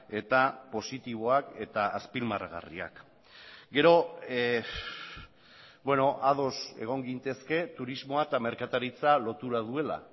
eta positiboak eta azpimarragarriak gero ados egon gintezke turismoa eta merkataritza lotura duela